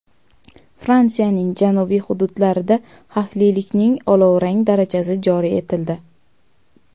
Fransiyaning janubiy hududlarida xavflilikning olovrang darajasi joriy etildi.